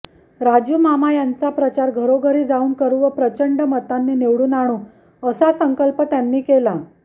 राजुमामा यांचा प्रचार घरोघरी जावून करू व प्रचंड मतांनी निवडून आणू असा संकल्प त्यांनी केला